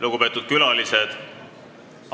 Lugupeetud külalised!